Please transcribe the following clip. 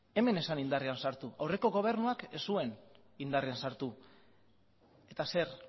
hemen ez zen indarrean sartu aurreko gobernuak ez zuen indarrean sartu eta zer